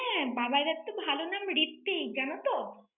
হ্যাঁ, বাবাইদার তো ভালো নাম ঋত্বিক, জানো তো?